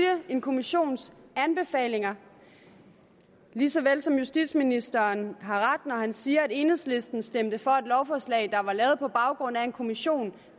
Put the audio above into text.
en kommissions anbefalinger lige så vel som justitsministeren har ret når han siger at enhedslisten stemte for et lovforslag der var lavet på baggrund af en kommissions